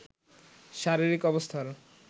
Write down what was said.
শারীরিক অবস্থার